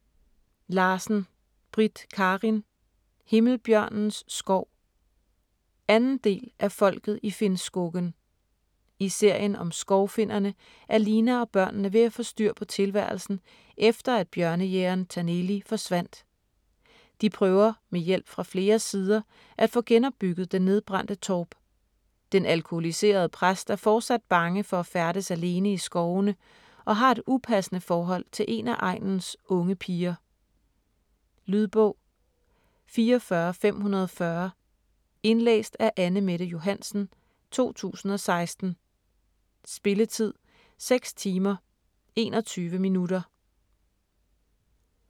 Larsen, Britt Karin: Himmelbjørnens skov 2. del af Folket i Finnskogen. I serien om skovfinnerne er Lina og børnene ved få styr på tilværelsen efter at bjørnejægeren Taneli forsvandt. De prøver med hjælp fra flere sider at få genopbygget den nedbrændte torp. Den alkoholiserede præst er fortsat bange for at færdes alene i skovene og har et upassende forhold til en af egnens unge piger. Lydbog 44540 Indlæst af Anne-Mette Johansen, 2016. Spilletid: 6 timer, 21 minutter.